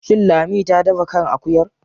Shin Lami ta dafa kan akuyar?